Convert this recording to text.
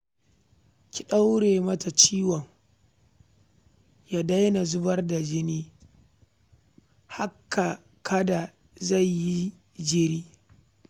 Ki ɗaure mata ciwon ya daina zubar jini haka kada ta yi jiri